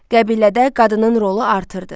Qəbilədə qadının rolu artırdı.